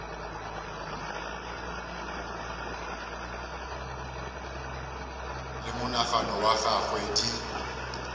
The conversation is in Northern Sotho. le monagano wa gagwe di